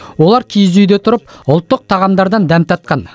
олар киіз үйде тұрып ұлттық тағамдардан дәм татқан